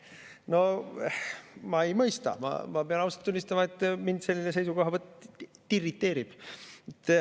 No ma ei mõista, ma pean ausalt tunnistama, et mind selline seisukohavõtt irriteerib.